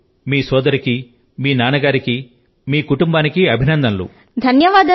మీకు మీ సోదరి కి మీ నాన్న కు మీ కుటుంబాని కి అభినందనలు